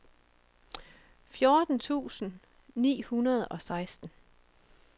fjorten tusind ni hundrede og seksten